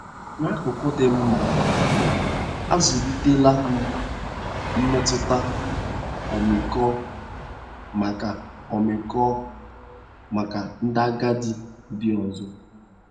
N'akụkụ dị mma, azụlitela m mmetụta ọmịiko maka ọmịiko maka ndị agadi ndị ọzọ.